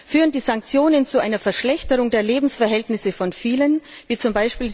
Führen die Sanktionen zu einer Verschlechterung der Lebensverhältnisse von vielen, wie z.